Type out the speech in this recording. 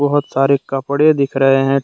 बहोत सारे कपड़े दिख रहे हैं।